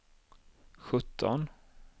sjutton